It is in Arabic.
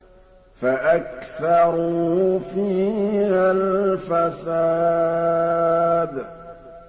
فَأَكْثَرُوا فِيهَا الْفَسَادَ